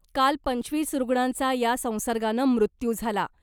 काल पंचवीस रुग्णांचा या संसर्गानं मृत्यू झाला .